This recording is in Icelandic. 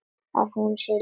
Að hún sé ljón.